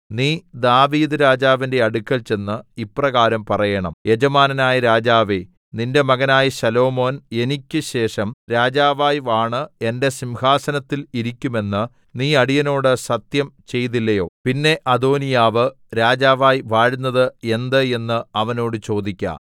നീ ദാവീദ്‌ രാജാവിന്റെ അടുക്കൽ ചെന്ന് ഇപ്രകാരം പറയേണം യജമാനനായ രാജാവേ നിന്റെ മകനായ ശലോമോൻ എനിക്ക് ശേഷം രാജാവായി വാണ് എന്റെ സിംഹാസനത്തിൽ ഇരിക്കും എന്ന് നീ അടിയനോട് സത്യം ചെയ്തില്ലയോ പിന്നെ അദോനീയാവ് രാജാവായി വാഴുന്നത് എന്ത് എന്ന് അവനോട് ചോദിക്ക